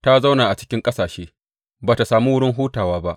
Ta zauna a cikin ƙasashe, ba tă samu wurin hutawa ba.